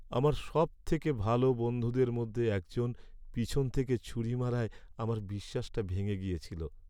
আমার সবথেকে ভালো বন্ধুদের মধ্যে একজন পেছন থেকে ছুরি মারায় আমার বিশ্বাসটা ভেঙে গেছিল।